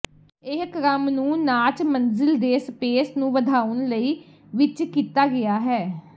ਇਹ ਕ੍ਰਮ ਨੂੰ ਨਾਚ ਮੰਜ਼ਿਲ ਦੇ ਸਪੇਸ ਨੂੰ ਵਧਾਉਣ ਲਈ ਵਿੱਚ ਕੀਤਾ ਗਿਆ ਹੈ